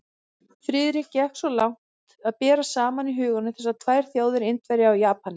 Friðrik gekk svo langt að bera saman í huganum þessar tvær þjóðir, Indverja og Japani.